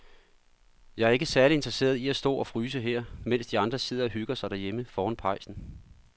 Jeg er ikke særlig interesseret i at stå og fryse her, mens de andre sidder og hygger sig derhjemme foran pejsen.